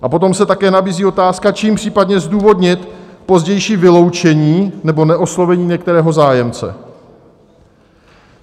A potom se také nabízí otázka, čím případně zdůvodnit pozdější vyloučení nebo neoslovení některého zájemce.